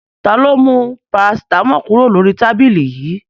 Ta ló mú parasítámọ̀ kúrò lórí tábìlì yìí?